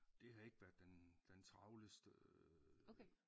Det har ikke været den den travleste øh